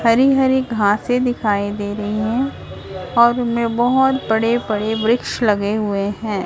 हरी हरी घासे दिखाई दे रही हैं और उनमें बहोत बड़े बड़े वृक्ष लगे हुए हैं।